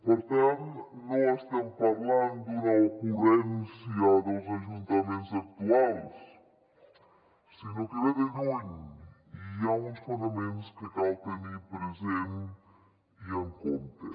per tant no estem parlant d’una ocurrència dels ajuntaments actuals sinó que ve de lluny i hi ha uns fonaments que cal tenir presents i en compte